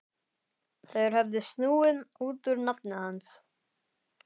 Þeir höfðu snúið út úr nafni hans.